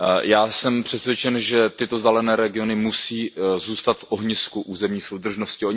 Já jsem přesvědčen, že tyto vzdálené regiony musí zůstat v ohnisku územní soudržnosti.